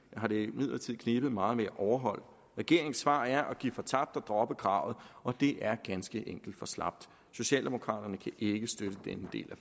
har det imidlertid knebet meget med at overholde regeringens svar er at give fortabt og droppe kravet og det er ganske enkelt for slapt socialdemokraterne kan ikke støtte denne del